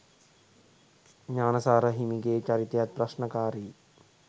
ඥාන සාර හිමිගේ චරිතයත් ප්‍රශ්නකාරීයි.